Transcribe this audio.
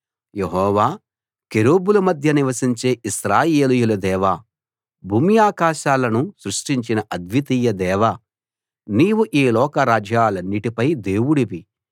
యెహోవా కెరూబుల మధ్య నివసించే ఇశ్రాయేలీయుల దేవా భూమ్యాకాశాలను సృష్టించిన అద్వితీయ దేవా నీవు ఈ లోక రాజ్యాలన్నిటిపై దేవుడివి